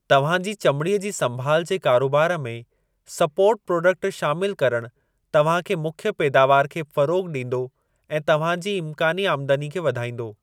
तव्हां जी चमिड़ीअ जी संभाल जे कारोबार में सपोर्ट प्राडक्ट शामिलु करणु तव्हां जे मुख्य पैदावार खे फ़रोग़ ॾींदो ऐं तव्हां जी इमकानी आमदनीअ खे वधाईंदो।